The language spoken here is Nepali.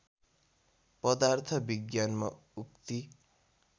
पदार्थ विज्ञानमा उक्ति